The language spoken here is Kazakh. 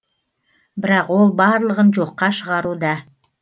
бірақ ол барлығын жоққа шығаруда